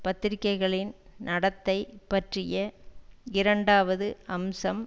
பத்திரிகைகளின் நடத்தை பற்றிய இரண்டாவது அம்சம்